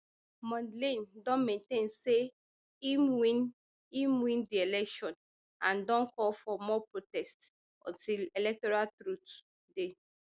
mondlane don maintain say im win im win di election and don call for more protests until electoral truth dey